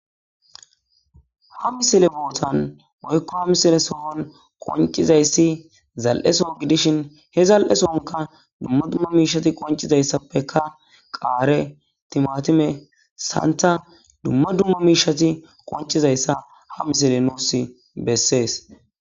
Ha misile bootan woykko ha misile sohon qoncizayssi zal'eso gidishin he zal'esonka dumma dumma miishati qoncizayssappeka qaare timatime santa dumma dumma miishati qoncizayssa ha misile nooss bessees